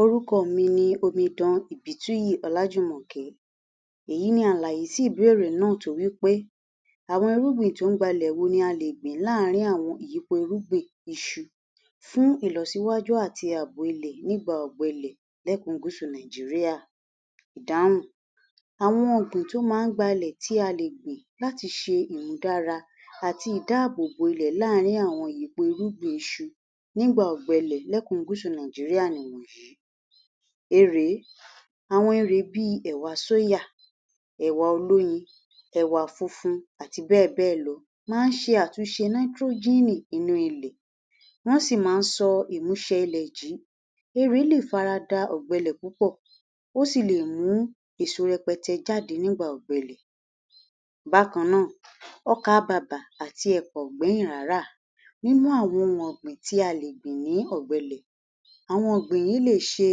Orúkọ mi ni omidan Ìbítúyì Ọlájùmọ̀kẹ́. Èyí ni àlàyé sí ìbéèrè náà tó wí pé “àwọn ẹrúgbìn tó ń gbalẹ̀ wo la lè gbìn láàárín àwọn ìyípo irúgbìn iṣu fún ìlọsíwájú àti ààbò ilẹ̀ nígbà ọ̀gbẹlẹ̀ lẹ́kùn gúúsù Nàìjíríà”. Ìdáhùn. Àwọn ọ̀gbìn tó máa ń gbalẹ̀ tí a lè gbìn láti ṣe ìmúdára àti ìdáábòbò ilẹ̀ láàárín àwọn ìyípo irúgbìn iṣu nígbà ọ̀gbẹlẹ̀ lẹ́kùn gúúsù Nàìjíríà nìwọ̀nyìí; Erèé, àwọn Erèé bíi ẹ̀wà sóyà, ẹ̀wà olóyin, ẹ̀wà funfun, àti bẹ́ẹ̀ bẹ́ẹ̀ lọ, máa ń ṣe àtúnṣe náítírójíínì inú ilẹ̀. Wọ́n sì máa ń sọ ìmúṣẹ ilẹ̀ jí. Erèé lè fara da ọ̀gbẹlẹ̀ púpọ̀, ó sì èso rẹpẹtẹ jáde nígbà ọ̀gbẹlẹ̀. Bákan náà, ọkà bàbà àti ẹ̀pà ò gbẹ́yìn rárá. Nínú àwọn ohun ọ̀gbìn tí a lè gbìn ní ọ̀gbẹlẹ̀, àwọn ọ̀gbìn yìí lè ṣe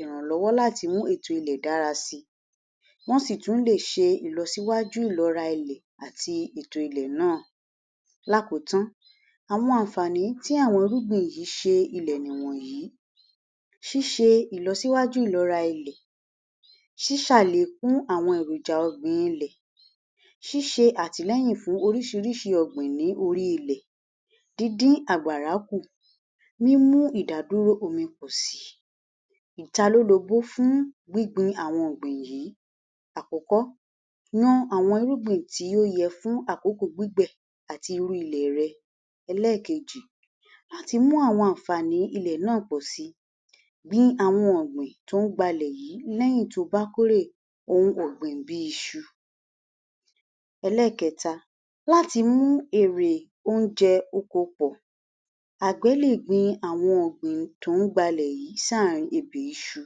ìrànlọ́wọ́ láti mú ètò ilẹ̀ dára síi. Wọ́n sì tún lè ṣe ìlọsíwájú ìlọ́ra ilẹ̀ àti ètò ilẹ̀ náà. Lákòótán, àwọn àǹfààní tí àwọn irúgbìn yìí ṣe ilẹ̀ nìwọ̀nyìí; ṣíṣe ìlọsíwájú ìlọ́ra ilẹ̀, ṣíṣàléékún àwọn èròjà ọ̀gbìn ilẹ̀, ṣíṣe àtìlẹ́yìn fún oríṣìíríṣìí ọ̀gbìn ní orí ilẹ̀, díndín àgbàrá kù, mímú ìdádúró omi pọ̀ síi. Ìtalólobó fún gbíngbin àwọn ọ̀gbìn yìí; Àkọ́kọ́, yan àwọn irúgbìn tí ó yẹ fún àkókò gbígbẹ̀ àti irú ilẹ̀ rẹ. Ẹlẹ́ẹ̀keejì, àtimú àwọn àǹfààní ilẹ̀ náà pọ̀ síi, gbin àwọn ọ̀gbìn tó ń gbalẹ̀ yìí lẹ́yìn tóo bá kórè ohun ọ̀gbìn bíi iṣu. Ẹlẹ́ẹ̀kẹta, láti mú èrè ohun oko pọ̀, àgbẹ̀ lè gbin àwọn ọ̀gbìn tó ń gbalẹ̀ yìí sáàárín ebè iṣu.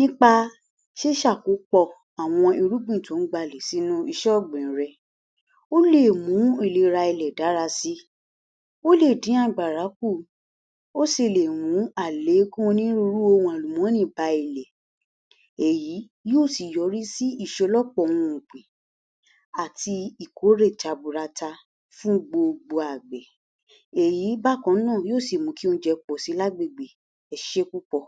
Nípa ṣíṣàkópọ̀ àwọn irúgbìn tó ń gbalẹ̀ sínú iṣẹ́ ọ̀gbìn rẹ, ó lè mú ìlera ilẹ̀ dára síi, ó lè dín àgbàrá kù, ó sì lè mú àléékún onírúurú ohun àlùmọ́ọ́nì bá ilẹ̀, èyí yóò sì yọrí sí ìṣelọ́pọ̀ ohun ọ̀gbìn àti ìkórè jaburata fún gbogbo àgbẹ̀. Èyí bákan náà, yóò sì mú kí oúnjẹ pọ̀ síi lágbègbè, ẹ ṣeé púpọ̀.